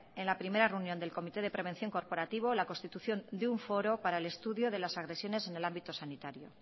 en la primera reunión del comité de prevención corporativo la constitución de un foro para el estudio de las agresiones en el ámbito sanitario